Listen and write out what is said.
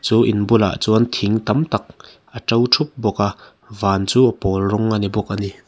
chu in bulah chuan thing tam tak a to thup bawk a van chu a pawl rawng a ni bawk a ni.